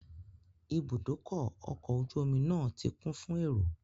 Ibùdókọ̀ ọkọ̀ ojú omi náà ti kún fún èrò